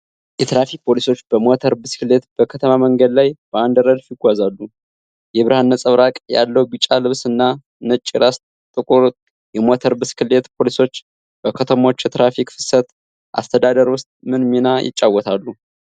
የትራፊክ ፖሊሶች በሞተር ብስክሌት በከተማ መንገድ ላይ በአንድ ረድፍ ይጓዛሉ። የብርሃን ነጸብራቅ ያለው ቢጫ ልብስ እና ነጭ የራስ ጥቁር የሞተር ብስክሌት ፖሊሶች በከተሞች የትራፊክ ፍሰት አስተዳደር ውስጥ ምን ሚና ይጫወታሉ?